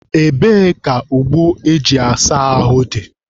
Ebee ka ogbo eji asa ahụ dị?